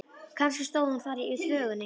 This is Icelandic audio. Kannski stóð hún þar í þvögunni.